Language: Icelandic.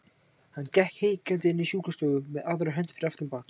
Hann gekk hikandi inn í sjúkrastofuna með aðra hönd fyrir aftan bak.